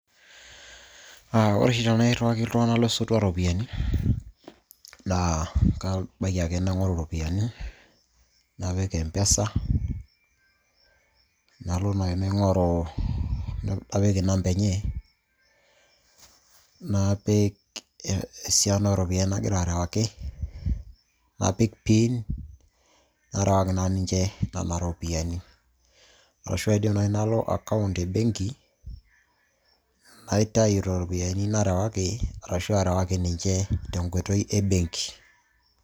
Aah, ore oshi tenairiwaki iltung'anak losotua iropiyiani naa kabaiki ake naing'oru iropiyiani napik empesa nalo naaji naing'oru napik inamba enye napik esiana oropyiani nagira arewaki napik pin narewaki naa ninche nena ropiyiani, arashu aidim naaji nalo account embenki naitayu iropiyiani narewaki arashuu arewaki ninche tenkoitoi e benki.